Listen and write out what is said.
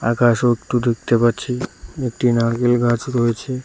আকাশও একটু দেখতে পাচ্ছি একটি নারকেল গাছ রয়েছে।